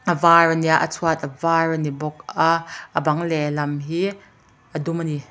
a vâr a nia a chhuat a vâr a ni bawk a a bang leh lam hi a dum a ni.